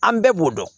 An bɛɛ b'o dɔn